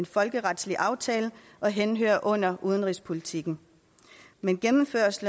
folkeretlig aftale og henhører under udenrigspolitik men gennemførelse